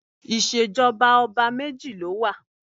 Ìṣèjọba ọba méjì ló wà